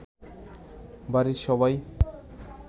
বাড়ির সবাই